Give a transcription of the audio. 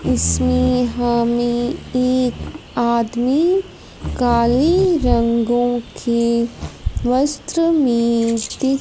इसमें हमें एक आदमी काले रंगों के वस्त्र में दि--